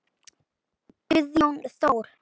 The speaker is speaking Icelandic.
Guðjón Þór.